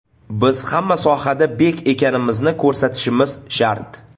Biz hamma sohada bek ekanimizni ko‘rsatishimiz shart!